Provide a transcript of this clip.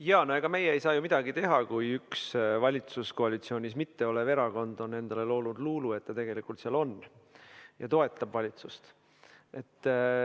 Jaa, no ega meie ei saa ju midagi teha, kui üks valitsuskoalitsioonis mitte olev erakond on endale loonud luulu, et ta tegelikult seal on, ja toetab valitsust.